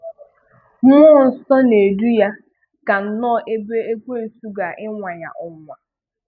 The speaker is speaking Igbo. Mmụọ Nsọ na-edu ya ka nnọọ ebe ekwènsù ga ịnwa Ya ọnwụ́nwa.